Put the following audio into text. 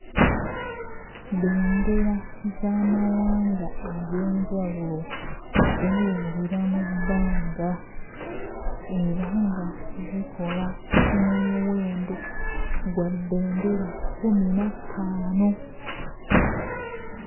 Bendera z'amawanga eg'enjawulo zeewuubira mu bbanga era nga zikola omuwendo gwa bendera kkumi na ttaano.